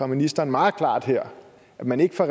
ministeren meget klart her om man ikke fra